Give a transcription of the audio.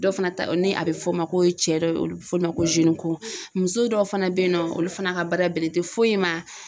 Dɔ fana ta ni a bɛ fɔ o ma ko cɛ dɔw ye olu bɛ f'o ma ko muso dɔw fana bɛ yen nɔ olu fana ka baara bɛlen tɛ foyi ma.